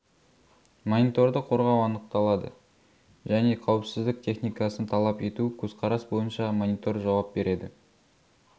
мониторды қорғау анықталады және қауіпсіздік техникасын талап ету көзқарас бойынша монитор жауап береді